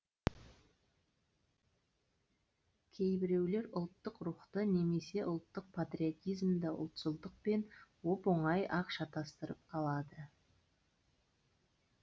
кейбіреулер ұлттық рухты немесе ұлттық патриотизмді ұлтшылдықпен оп оңай ақ шатастырып алады